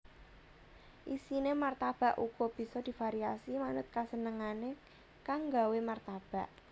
Isiné martabak uga bisa divariasi manut kasenengané kang nggawé martabak